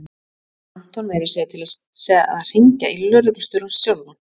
Hún fékk Anton meira að segja til þess að hringja í lögreglustjórann sjálfan.